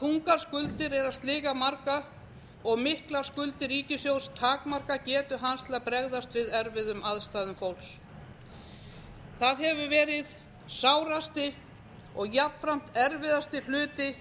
þungar skuldir eru að sliga marga og miklar skuldir ríkissjóðs takmarka getu hans til að bregðast við erfiðum aðstæðum fólks það hefur verið sárasti og jafnframt erfiðasti hluti